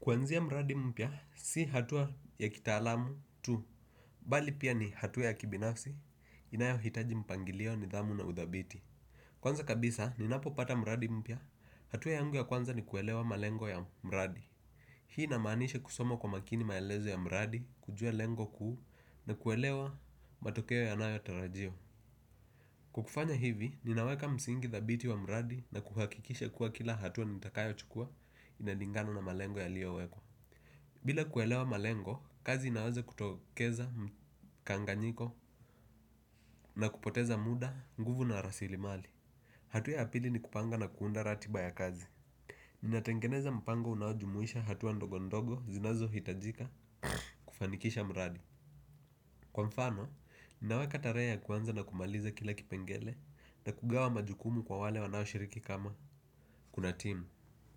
Kuanzia mradi mpya, si hatua ya kitaalamu tu, bali pia ni hatua ya kibinafsi, inayohitaji mpangilio nidhamu na uthabiti. Kwanza kabisa, ninapopata mradi mpya, hatua yangu ya kwanza ni kuelewa malengo ya mradi. Hii linamaanisha kusomo kwa makini maelezo ya mradi, kujua lengo kuu, na kuelewa matokeo yanayotarajiwa. Kwa kufanya hivi, ninaweka msingi dhabiti wa mradi na kuhakikisha kuwa kila hatua nitakayo chukua inalingana na malengo yaliowekwa. Bila kuelewa malengo, kazi inaweza kutokeza mkanganyiko na kupoteza muda nguvu na rasilimali. Hatua ya pili ni kupanga na kuunda ratiba ya kazi. Ninatengeneza mpango unaojumuisha hatua ndogondogo zinazohitajika kufanikisha mradi. Kwa mfano, ninaweka tarehe ya kuanza na kumaliza kila kipengele na kugawa majukumu kwa wale wanaoshiriki kama kuna team.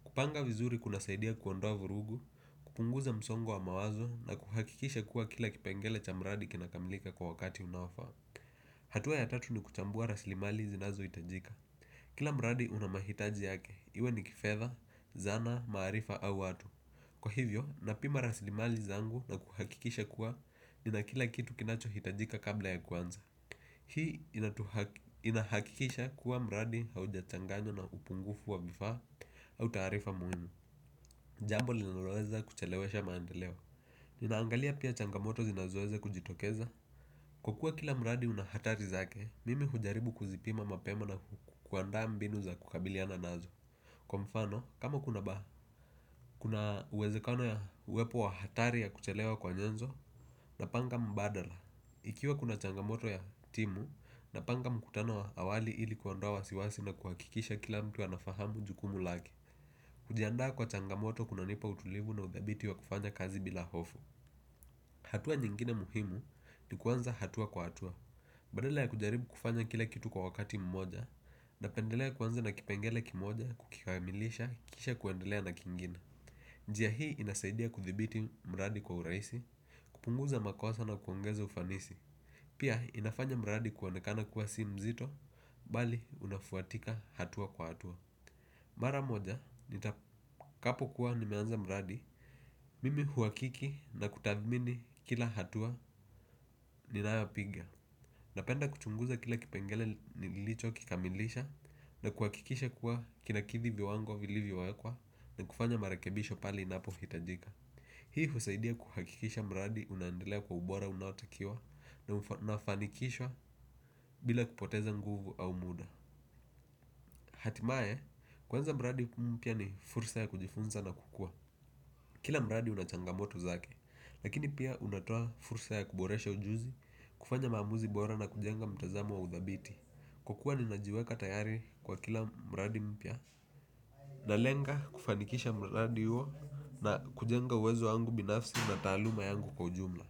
Kupanga vizuri kuna saidia kuondoa vurugu, kupunguza msongo wa mawazo na kuhakikisha kuwa kila kipengele cha mradi kina kamilika kwa wakati unaofaa. Hatua ya tatu ni kuchambua raslimali zinazohitajika. Kila mradi una mahitaji yake, iwe ni kifedha, zana, maarifa au watu. Kwa hivyo, napima raslimali zangu na kuhakikisha kuwa, nina kila kitu kinachohitajika kabla ya kwanza. Hii inahakikisha kuwa mradi haujachanganywa na upungufu wa vifaa au taarifa muhimu. Jambo linoloweza kuchelewesha maandeleo. Ninaangalia pia changamoto zinazoweza kujitokeza. Kwa kuwa kila mradi una hatari zake, mimi hujaribu kuzipima mapema na kuandaa mbinu za kukabiliana nazo. Kwa mfano, kama kuna ba, kuna uwezekona ya uwepo wa hatari ya kuchelewa kwa nyenzo napanga mbadala. Ikiwa kuna changamoto ya timu, napanga mkutano wa awali ili kuondoa wasiwasi na kuhakikisha kila mtu anafahamu jukumu lake. Kujiandaa kwa changamoto kunanipa utulivu na udhabiti wa kufanya kazi bila hofu. Hatua nyingine muhimu, ni kuanza hatua kwa hatua. Badala ya kujaribu kufanya kila kitu kwa wakati mmoja, napendelea kuanza na kipengele kimoja, kukikamilisha, kisha kuendelea na kingine. Njia hii inasaidia kuthibiti mradi kwa urahisi, kupunguza makosa na kuongeza ufanisi. Pia inafanya mradi kuonekana kuwa si mzito, bali unafuatika hatua kwa hatua. Mara moja, kapo kuwa nimeanza mradi, mimi huhakiki na kutathimini kila hatua ninayopiga. Napenda kuchunguza kila kipengele nilicho kikamilisha na kuhakikisha kuwa kinakidhi viwango vilivyowekwa na kufanya marekebisho pale inapohitajika. Hii husqidia kuhakikisha mradi unaendelea kwa ubora unaotakiwa na unafanikishwa bila kupoteza nguvu au muda. Hatimaye, kuanza mradi mpya ni fursa ya kujifunza na kukua. Kila mraadi una changamoto zake, lakini pia unatoa fursa ya kuboresha ujuzi, kufanya maamuzi bora na kujenga mtazamo wa udhabiti. Kwa kuwa ninajiweka tayari kwa kila mradi mpya. Nalenga kufanikisha mradi huo na kujenga uwezo wangu binafsi na taaluma yangu kwa ujumla.